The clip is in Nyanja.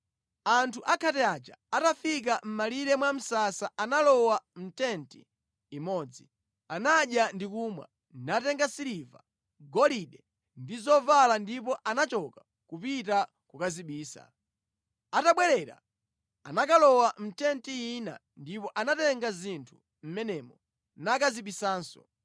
Anthu akhate aja atafika mʼmalire mwa msasa analowa mʼtenti imodzi. Anadya ndi kumwa, natenga siliva, golide ndi zovala ndipo anachoka kupita kukazibisa. Atabwerera anakalowa mʼtenti ina ndipo anatenga zinthu mʼmenemo nakazibisanso.